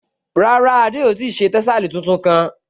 Rárá, Adé ò ti ṣe tẹ́sàlí tuntun kán